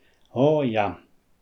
O, ja.